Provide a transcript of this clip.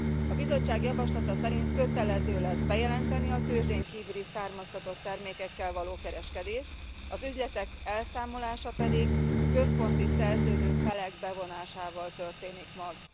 A Bizottság javaslata szerint kötelező lesz bejelenteni a tőzsdén kívüli származtatott termékekkel való kereskedést, az ügyletek elszámolása pedig központi szerződő felek bevonásával történik meg.